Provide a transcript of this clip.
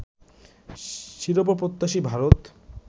শিরোপা-প্রত্যাশী Bharat